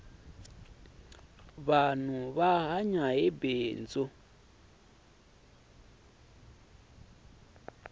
vanhu va hanya hi bindzu